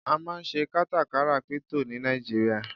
a ma n se katakara crypto ni Naijiria